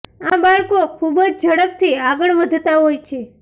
આ બાળકો ખૂબ જ ઝડપથી આગળ વધતા હોય છે